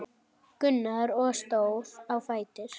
Gunnar og stóð á fætur.